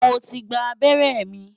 Mo ti gba abẹ́rẹ́ mi.